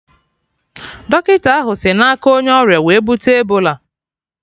Dọkịta ahụ sị na aka onye ọrịa wee bute Ebola